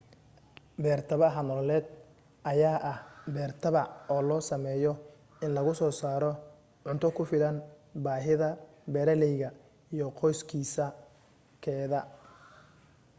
beer tabaca nololeed ayaa ah beer tabac oo loo sameeyo in lagusoo saaro cunto ku filan baahida beeraleyga iyo qoyskiisa/keeda